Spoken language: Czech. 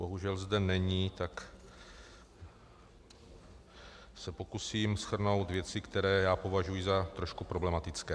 Bohužel zde není, tak se pokusím shrnout věci, které já považuji za trošku problematické.